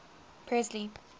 presley